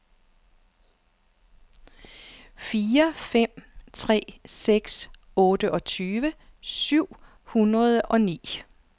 fire fem tre seks otteogtyve syv hundrede og ni